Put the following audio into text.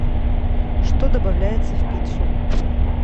что добавляется в пиццу